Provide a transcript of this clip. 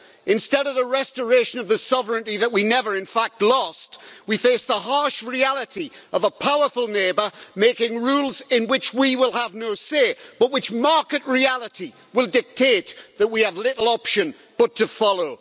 Instead of the restoration of the sovereignty that we never in fact lost, we face the harsh reality of a powerful neighbour making rules in which we will have no say but which market reality will dictate that we have little option but to follow.